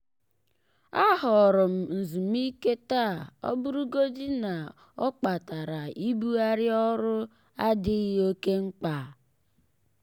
a họọrọ m nzumike taa ọbụrụgodị na ọ kpatara ibugharị orụ adịghị oke mkpa.